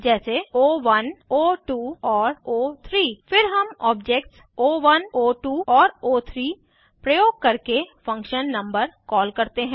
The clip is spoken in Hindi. जैसे ओ1 ओ2 और ओ3 फिर हम ऑब्जेक्ट्स ओ1 ओ2 और ओ3 प्रयोग करके फंक्शन नंबर कॉल करते हैं